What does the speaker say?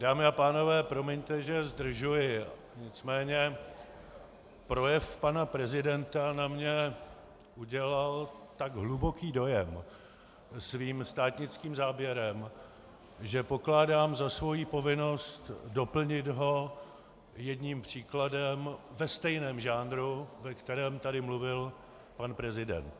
Dámy a pánové, promiňte, že zdržuji, nicméně projev pana prezidenta na mě udělal tak hluboký dojem svým státnickým záběrem, že pokládám za svou povinnost doplnit ho jedním příkladem ve stejném žánru, ve kterém tady mluvil pan prezident.